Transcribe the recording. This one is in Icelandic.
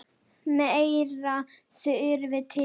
Meira þurfi til.